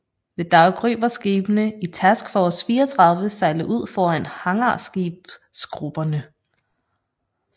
Ved daggry var skibene i Task Force 34 sejlet ud foran hangarskibsgrupperne